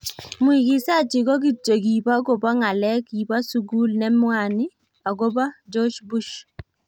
Muigizaji ko kityo kibo kobo ng�alek kibo sugul ne mwani agobo George Bush.